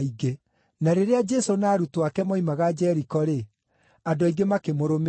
Na rĩrĩa Jesũ na arutwo ake moimaga Jeriko-rĩ, andũ aingĩ makĩmũrũmĩrĩra.